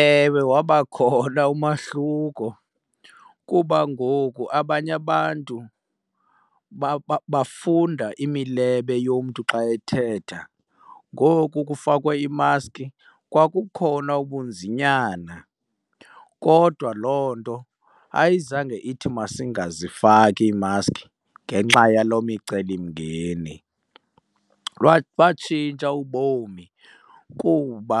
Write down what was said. Ewe, wabakhona umahluko kuba ngoku abanye abantu bafunda imilebe yomntu xa ethetha. Ngoku kufakwe iimaskhi kwakukhona ubunzinyana, kodwa loo nto ayizange ithi masingazifaki iimaskhi ngenxa yaloo micelimngeni. Batshintsha ubomi kuba